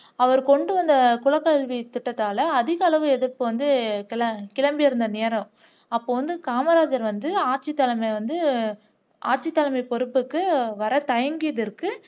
அவர் கொண்டு வந்த குலக்கல்வி திட்டத்தால அதிக அளவு எதிர்ப்பு வந்து கிள கிளம்பி இருந்த நேரம் அப்போ வந்து காமராஜர் வந்து ஆட்சி தலைமை வந்த ஆட்சி தலைமை பொறுப்புக்கு வரத்தயங்கியதற்கு